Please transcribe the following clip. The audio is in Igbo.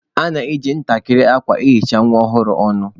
A na-ejikwa ntakịrị akwa ehicha nwa ọhụrụ ọnụ.